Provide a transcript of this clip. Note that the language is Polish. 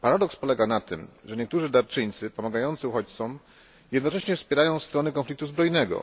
Paradoks polega na tym, że niektórzy darczyńcy pomagający uchodźcom jednocześnie wspierają stronę konfliktu zbrojnego.